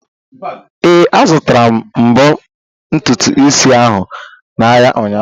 Ee, azutara m mbo ntutu isi ahụ n'ahịa ụnyaahụ.